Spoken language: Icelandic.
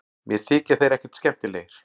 Mér þykja þeir ekkert skemmtilegir